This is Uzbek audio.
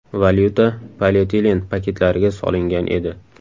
Valyuta polietilen paketlariga solingan edi.